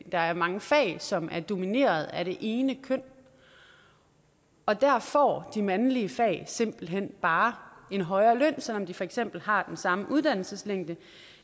der er mange fag som er domineret af det ene køn og der får de mandlige fag simpelt hen bare en højere løn selv om de for eksempel har den samme uddannelseslængde